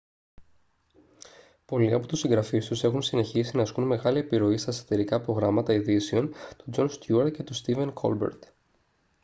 πολλοί από τους συγγραφείς τους έχουν συνεχίσει να ασκούν μεγάλη επιρροή στα σατιρικά προγράμματα ειδήσεων του τζον στιούαρτ και του στίβεν κόλμπερτ